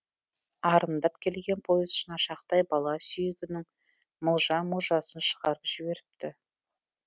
арындап келген пойыз шынашақтай бала сүйегінің мылжа мылжасын шығарып жіберіпті